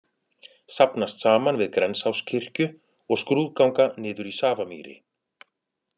Safnast saman við Grensáskirkju og skrúðganga niður í Safamýri.